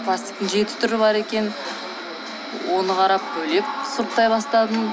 пластиктың жеті түрі бар екен оны қарап бөлек сұрыптай бастадым